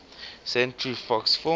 century fox films